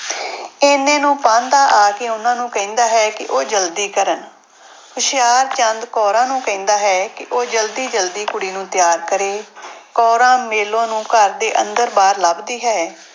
ਇੰਨੇ ਨੂੰ ਪਾਂਧਾ ਆ ਕੇ ਉਹਨਾਂ ਨੂੂੰ ਕਹਿੰਦਾ ਹੈ ਕਿ ਉਹ ਜ਼ਲਦੀ ਕਰਨ, ਹੁਸ਼ਿਆਰਚੰਦ ਕੌਰਾਂ ਨੂੰ ਕਹਿੰਦਾ ਹੈ ਕਿ ਉਹ ਜ਼ਲਦੀ ਜ਼ਲਦੀ ਕੁੜੀ ਨੂੰ ਤਿਆਰ ਕਰੇ। ਕੌਰਾਂ ਮੇਲੋ ਨੂੰ ਘਰ ਦੇ ਅੰਦਰ ਬਾਹਰ ਲੱਭਦੀ ਹੈ।